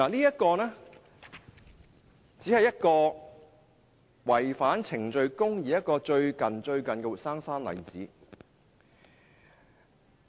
這只是最近違反程序公義的一個活生生的例子。